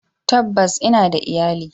Tabbas ina da iyali.